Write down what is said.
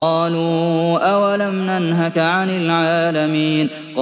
قَالُوا أَوَلَمْ نَنْهَكَ عَنِ الْعَالَمِينَ